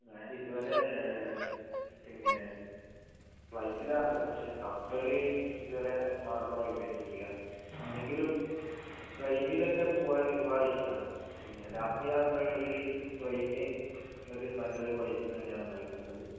ഞാനിതുവരെ പിന്നെ ബൈക്കിലെ പക്ഷെ കപ്പൽ ഇതുവരെ മാർഗം ആയിട്ട് ഉപയോഗിച്ചിട്ടില്ല എങ്കിലും ട്രെയിനിലൊക്കെ പോവാൻ ഒരുപാട് ഇഷ്ടമാണ് പിന്നെ രാത്രി യാത്രകളിൽ ട്രെയിൻ നല്ലൊരു വൈബ് തന്നെയാണ് നൽകുന്നത്